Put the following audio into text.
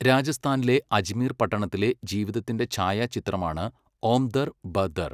രാജസ്ഥാനിലെ അജ്മീർ പട്ടണത്തിലെ ജീവിതത്തിൻ്റെ ഛായാചിത്രമാണ് ഓം ദർ ബ ദർ.